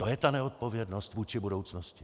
To je ta neodpovědnost vůči budoucnosti!